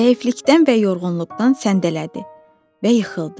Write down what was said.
Zəiflikdən və yorğunluqdan səndələdi və yıxıldı.